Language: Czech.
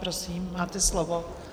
Prosím, máte slovo.